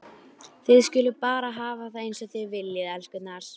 Þið skuluð bara hafa það eins og þið viljið, elskurnar!